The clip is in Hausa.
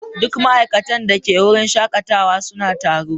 Duk ma'aikatan da ke wurin shakatawa suna taro.